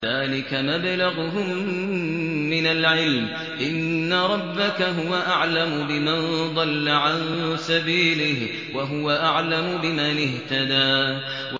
ذَٰلِكَ مَبْلَغُهُم مِّنَ الْعِلْمِ ۚ إِنَّ رَبَّكَ هُوَ أَعْلَمُ بِمَن ضَلَّ عَن سَبِيلِهِ وَهُوَ أَعْلَمُ بِمَنِ اهْتَدَىٰ